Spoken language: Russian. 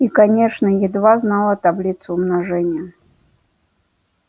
и конечно едва знала таблицу умножения